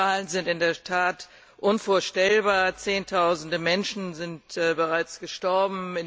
Die Zahlen sind in der Tat unvorstellbar Zehntausende Menschen sind bereits gestorben!